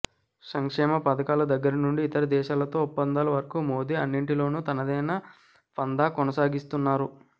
సంక్షేమ పథకాల దగ్గర నుండీ ఇతర దేశాలతో ఒప్పందాల వరకూ మోదీ అన్నింటిలోనూ తనదైన పంధా కొనసాగిస్తున్నారు